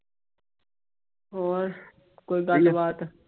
ਹੋਰ ਕੋਈ ਗੱਲਬਾਤ।